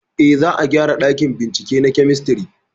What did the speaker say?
Eh, za a gyara ɗakin bincike na kemistri